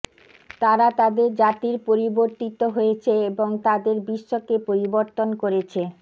তারা তাদের জাতির পরিবর্তিত হয়েছে এবং তাদের বিশ্বকে পরিবর্তন করেছে